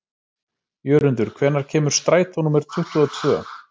Jörundur, hvenær kemur strætó númer tuttugu og tvö?